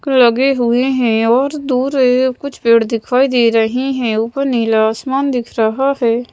लगे हुए हैं और दूर ए कुछ पेड़ दिखाई दे रही हैं ऊपर नीला आसमान दिख रहा हैं।